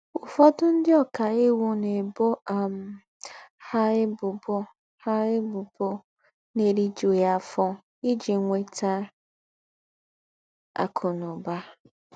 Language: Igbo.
Ụ́fọ̀dụ̀ ńdị́ ọ́kaìwù ná-èbò um ha ébùbò ha ébùbò ná-èrìjùghí áfọ̀ íjí nwètà àkụ́ na ụ́bà.